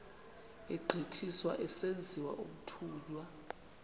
egqithiswa esenziwa umthunywa